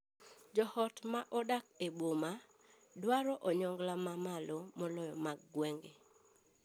Joot ma odak e boma dwaro onyongla ma mamalo moloyo mag gwenge.